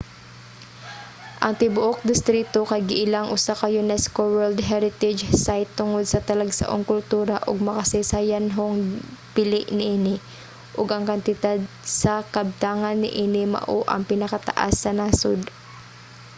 ang tibuok distrito kay giilang usa ka unesco world heritage site tungod sa talagsaong kultura ug makasaysayanhong bili niini ug ang kantidad sa kabtangan niini mao ang pinakataas sa nasod